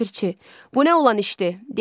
Ləpirçi, bu nə olan işdir?